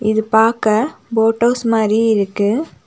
இது பாக்க boat house மாறி இருக்கு.